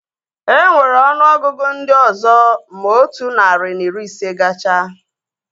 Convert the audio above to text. Enwere ọnụ ọgụgụ ndị ọzọ ma otu narị na iri ise gachaa